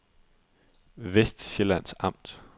Vestsjællands Amt